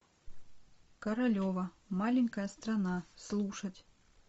королева маленькая страна слушать